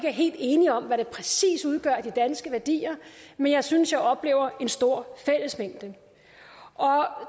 er helt enige om hvad der præcis udgør de danske værdier men jeg synes at jeg oplever en stor fællesmængde